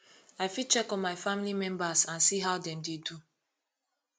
i fit check on my family members and see how dem dey do